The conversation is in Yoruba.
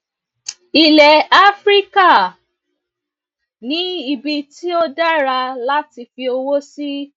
ilẹ áfíríkà ni ibi tí ó dára láti fi owó sí